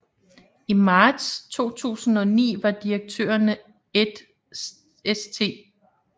I marts 2009 var direktørerne Ed St